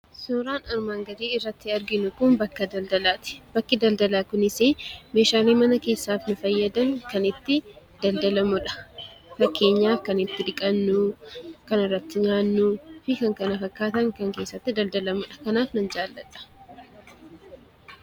Suuraan armaan gadii irratti arginu kun bakka daldalaati. Bakki daldalaa kunis meeshaalee daldalaaf nu fayyadan kan itti daldalamudha. Fakkeenyaaf kan itti dhiqannu kan irratti nyaannuu fi kan kana fakkaatan kan kan itti daldalamudha kanaaf nan jaalladha.